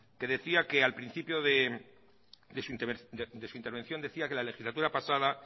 que decía que al principio de su intervención decía que la legislatura pasada